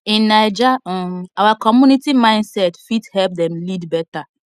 in naija um our community mindset fit help dem lead better